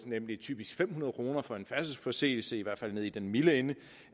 nemlig typisk fem hundrede kroner for en færdselsforseelse i hvert fald nede i den milde ende